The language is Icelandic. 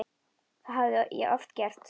Það hafði ég oft gert.